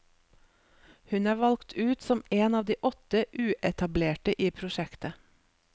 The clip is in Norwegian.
Hun er valgt ut som en av de åtte uetablerte i prosjektet.